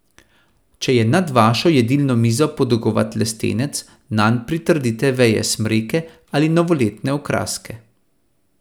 Če je nad vašo jedilno mizo podolgovat lestenec, nanj pritrdite veje smreke ali novoletne okraske.